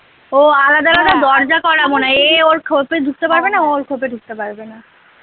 ও আলাদা আলাদা দরজা করা এ ওর খোপে ঢুকতে পারবে না ওর খোপে ঢুকতে পারবে না।